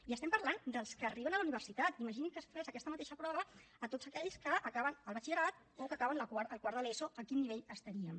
i estem parlant dels que arriben a la universitat imaginin que es fes aquesta mateixa prova a tots aquells que acaben el batxillerat o que acaben el quart de l’eso a quin nivell estaríem